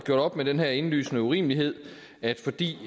gjort op med den her indlysende urimelighed at fordi